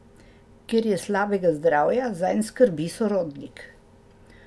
Ker je slabega zdravja, zanj skrbi sorodnik.